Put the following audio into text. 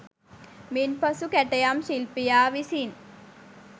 මින්පසු කැටයම් ශිල්පියා විසින්